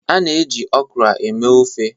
A na-eji okra eme ofe.